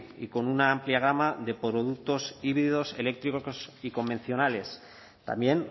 y con una amplia gama de productos híbridos eléctricos y convencionales también